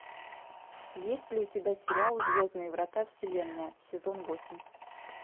есть ли у тебя сериал звездные врата вселенная сезон восемь